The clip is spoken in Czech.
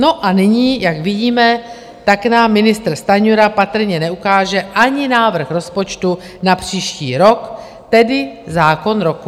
No a nyní, jak vidíme, tak nám ministr Stanjura patrně neukáže ani návrh rozpočtu na příští rok, tedy zákon roku.